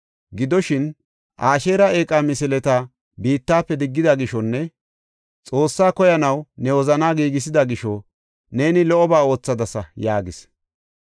Gidoshin, Asheera eeqa misileta biittafe diggida gishonne Xoossaa koyanaw ne wozanaa giigisida gisho neeni lo77oba oothadasa” yaagis.